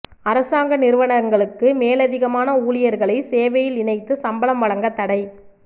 அரசாங்க நிறுவனங்களுக்கு மேலதிகமான ஊழியர்களை சேவையில் இணைத்து சம்பளம் வழங்க தடை